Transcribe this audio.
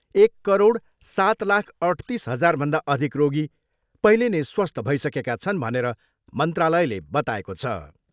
एक करोड सात लाख अठतिस हजारभन्दा अधिक रोगी पहिले नै स्वस्थ भइसकेका छन् भनेर मन्त्रालयले बताएको छ।